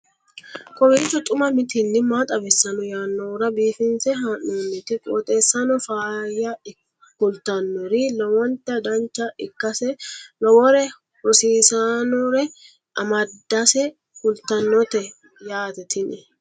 kowiicho xuma mtini maa xawissanno yaannohura biifinse haa'noonniti qooxeessano faayya kultannori lowonta dancha ikkase lowore rosiisannore amadase kultannote yaate tini